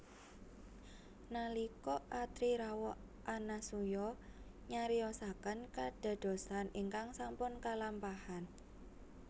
Nalika Atri rawuh Anasuya nyariosaken kadadosan ingkang sampun kalampahan